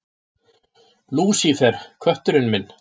Lúsífer, kötturinn minn.